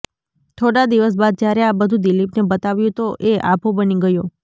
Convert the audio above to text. થોડા દિવસ બાદ જ્યારે આ બધું દિલિપને બતાવ્યું તો એ આભો બની ગયો